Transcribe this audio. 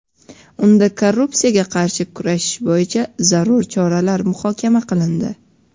Unda korrupsiyaga qarshi kurashish bo‘yicha zarur choralar muhokama qilindi.